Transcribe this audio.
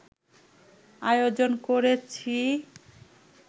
আয়োজন করেছি